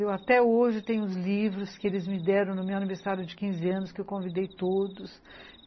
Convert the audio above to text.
Eu até hoje tenho os livros que eles me deram no meu aniversário de quinze anos, que eu convidei todos.